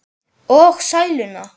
Og sæluna.